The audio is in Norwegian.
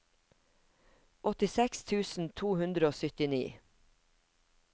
åttiseks tusen to hundre og syttini